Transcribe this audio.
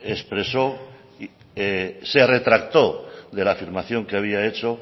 expresó se retractó de la afirmación que había hecho